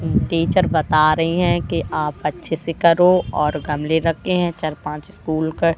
teacher बता रही हैं कि आप अच्छे से करो और गमले रखे हैं चार पांच स्कूल का--